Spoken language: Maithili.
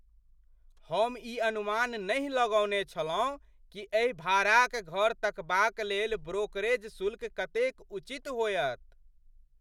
हम ई अनुमान नहि लगौने छलहुँ कि एहि भाड़ाक घर तकबाक लेल ब्रोकरेज शुल्क कतेक उचित होएत!